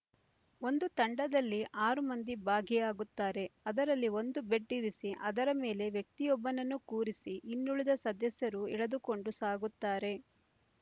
ಒಂದು ತಂಡದಲ್ಲಿ ಆರು ಮಂದಿ ಭಾಗಿಯಾಗುತ್ತಾರೆ ಅದರಲ್ಲಿ ಒಂದು ಬೆಡ್ ಇರಿಸಿ ಅದರ ಮೇಲೆ ವ್ಯಕ್ತಿಯೊಬ್ಬನನ್ನು ಕೂರಿಸಿ ಇನ್ನುಳಿದ ಸದಸ್ಯರು ಎಳೆದುಕೊಂಡು ಸಾಗುತ್ತಾರೆ